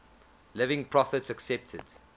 living prophets accepted